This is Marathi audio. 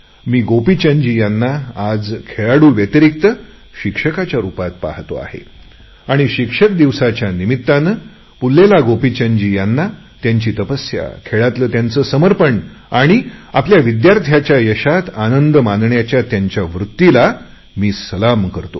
मी गोपीचंदजी यांना आज खेळाडू व्यतिरिक्त शिक्षकाच्या रुपात पाहतो आहे आणि शिक्षक दिनाच्या निमित्ताने पुल्लेला गोपीचंदजी यांना त्यांची तपस्या खेळाप्रती त्यांचे समर्पण आणि आपल्या विद्यार्थ्यांच्या यशामध्ये आनंद मानण्याच्या त्यांच्या वृत्तीला मी सलाम करतो